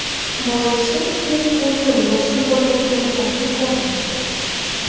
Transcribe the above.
Boisi u o‘zi munosib bo‘lgan e’tirofni ko‘rmagan.